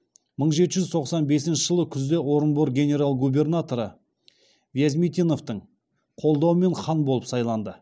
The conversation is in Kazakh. мың жеті жүз тоқсан бесінші жылы күзде орынбор генерал губернаторы вязмитиновтың қолдауымен хан болып сайланды